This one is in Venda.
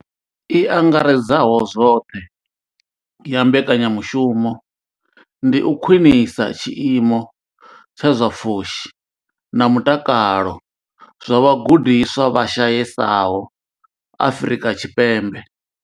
I angaredzaho zwoṱhe ya mbekanyamushumo ndi u khwinisa tshiimo tsha zwa pfushi na mutakalo zwa vhagudiswa vha shayesaho Afrika Tshipembe.